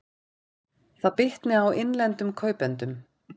Það bitni á innlendum kaupendum